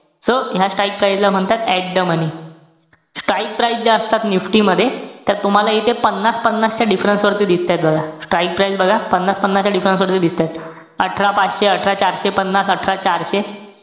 So ह्या strike price ला म्हणतात, . at the money strike price ज्या असतात NIFTY मध्ये, त्या तुम्हाला इथे पन्नास-पन्नास च्या difference वरती दिसतायत बघा. Strike price बघा. पन्नास-पन्नास च्या difference वरती दिसतायत. अठरा पाचशे, अठरा चारशे पन्नास, अठरा चारशे,